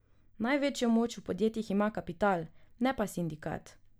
Največjo moč v podjetjih ima kapital, ne pa sindikat.